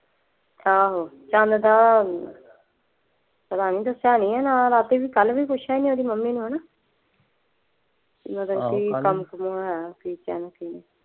ਆਹੋ ਚੰਦ ਦਾ ਪਤਾ ਨੀ ਦੱਸਿਆ ਨੀ ਨਾਲ ਰਾਤੀ ਵੀ ਕਲ ਵੀ ਪੁੱਛਿਆ ਸੀ ਮੈਂ ਮੱਮੀ ਨੂੰ ਹੈਨਾ